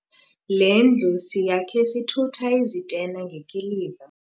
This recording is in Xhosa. Le ndlu siyakhe sithutha izitena ngekiliva.